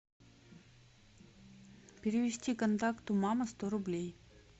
перевести контакту мама сто рублей